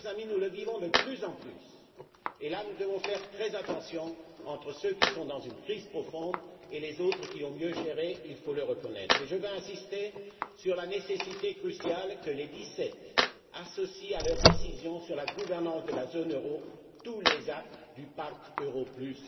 Mes chers amis, nous le vivons de plus en plus, nous devons faire très attention entre ceux qui sont dans une crise profonde et d'autres qui ont mieux géré, il faut le reconnaître. Je veux insister sur la nécessité cruciale que les Dix sept associent à leurs décisions sur la gouvernance de la zone euro tous les actes du Pacte europlus.